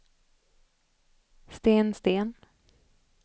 Sten Sten